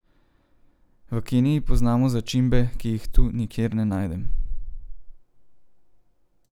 V Keniji poznamo začimbe, ki jih tu nikjer ne najdem.